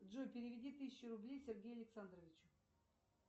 джой переведи тысячу рублей сергею александровичу